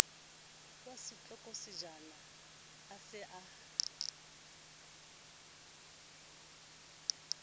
wa setlokotsejana a se a